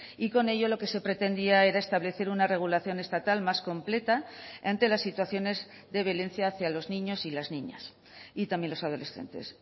y con ello lo que se pretendía era establecer una regulación estatal más completa ante las situaciones de violencia hacia los niños y las niñas y también los adolescentes